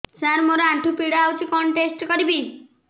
ସାର ମୋର ଆଣ୍ଠୁ ପୀଡା ହଉଚି କଣ ଟେଷ୍ଟ କରିବି